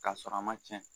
K'a sɔrɔ a ma cɛn